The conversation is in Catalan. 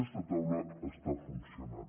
aquesta taula està funcionant